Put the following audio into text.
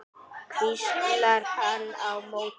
hvíslar hann á móti.